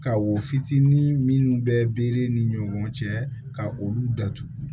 Ka wo fitinin minnu bɛ ni ɲɔgɔn cɛ ka olu datugu